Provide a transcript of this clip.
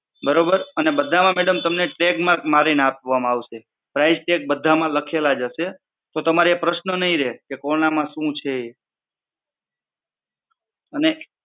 બરોબર અને બધામાં તમને tag mark મારીને આપવામાં આવશે. price tag બધામાં લખેલા જ હશે તો તમારે એ પ્રશ્ન નહીં રહે કોના માં શું છે એ અને